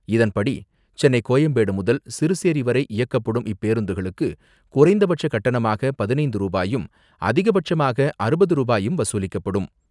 இதன்படி, சென்னை கோயம்பேடு முதல் சிறுசேரி வரை இயக்கப்படும் இப்பேருந்துகளுக்கு குறைந்தபட்ச கட்டணமாக பதினைந்து ரூபாயும், அதிகபட்சமாக அறுபது ரூபாயும் வசூலிக்கப்படும்.